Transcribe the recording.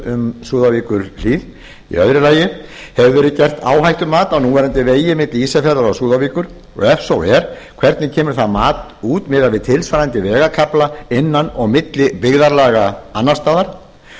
um súðavíkurhlíð annars hefur verið gert áhættumat á núverandi vegi milli ísafjarðar og súðavíkur ef svo er hvernig kemur það mat út miðað við tilsvarandi vegarkafla innan og milli byggðarlaga annars staðar